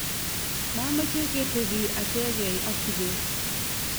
mameche ketebii achegei ak Kibet